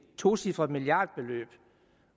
tocifret milliardbeløb og